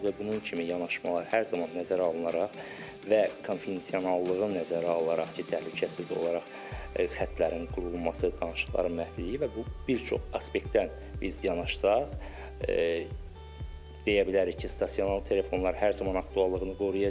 Və bunun kimi yanaşmalar hər zaman nəzərə alınaraq və konfidensiallığı nəzərə alaraq ki, təhlükəsiz olaraq xətlərin qurulması, danışıqların məhfilini və bu bir çox aspektdən biz yanaşsaq, deyə bilərik ki, stasionar telefonlar hər zaman aktuallığını qoruyacaq.